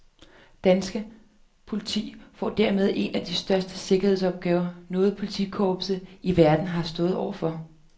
Dansk politi får dermed en af de største sikkerhedsopgaver, noget politikorps i verden har stået overfor.